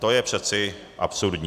To je přeci absurdní.